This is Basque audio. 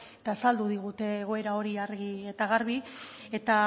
eta azaldu digute egoera hori argi eta garbi eta